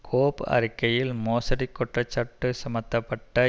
கோப் அறிக்கையில் மோசடிக் குற்றச்சாட்டு சுமத்தப்பட்ட